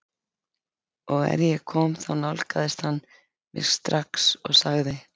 Og er ég kom þá nálgaðist hann mig strax og sagði